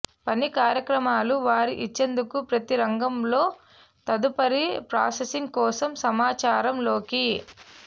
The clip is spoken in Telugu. పని కార్యక్రమాలు వారి ఇచ్చేందుకు ప్రతి రంగంలో తదుపరి ప్రాసెసింగ్ కోసం సమాచారం లోకి